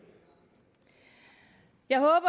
jeg håber